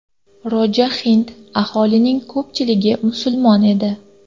Roja hind, aholisining ko‘pchiligi musulmon edi.